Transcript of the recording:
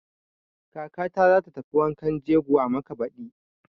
Kakata za ta tafi wankan jegon Amaka baɗi.